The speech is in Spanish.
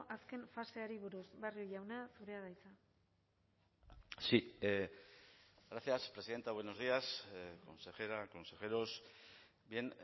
azken faseari buruz barrio jauna zurea da hitza sí gracias presidenta buenos días consejera consejeros bien